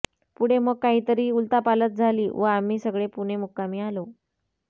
पुढे मग काहीतरी उलथापालथ झाली व आम्ही सगळे पुणे मुक्कामी आलो